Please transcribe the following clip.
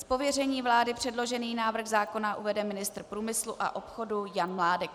Z pověření vlády předložený návrh zákona uvede ministr průmyslu a obchodu Jan Mládek.